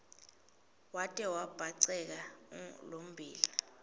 wate wabhaceka lommbila